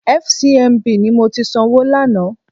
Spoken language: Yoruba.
FCMB ni mo ti sanwó lánàá.